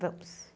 Vamos.